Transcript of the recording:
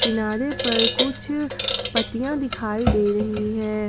किनारे पर कुछ पत्तियां दिखाई दे रही हैं।